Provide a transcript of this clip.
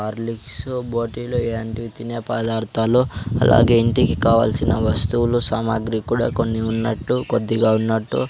Horlicks bottle ఇలాంటివి తినే పదార్థాలు అలాగే ఇంటికి కావాల్సిన వస్తువులు సామాగ్రి కూడా కొన్ని ఉన్నట్టు కొద్దిగా ఉన్నట్టు.